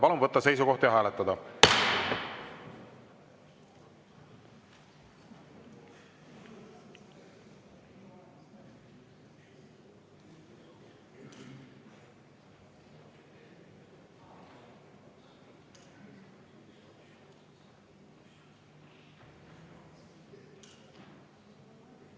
Palun võtta seisukoht ja hääletada!